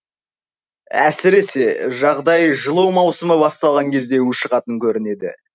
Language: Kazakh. әсіресе жағдай жылу маусымы басталған кезде ушығатын көрінеді